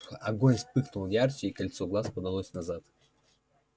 огонь вспыхнул ярче и кольцо глаз подалось назад